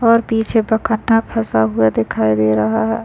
और पीछे प काटा फॅसा हुआ दिखाई दे रहा है।